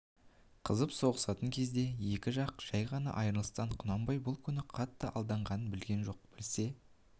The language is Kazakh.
қызып соғысатын кезде екі жақ жай ғана айрылысты құнанбай бұл күні қатты алданғанын білген жоқ білсе